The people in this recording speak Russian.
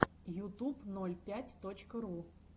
ютуб ноль пять точка ру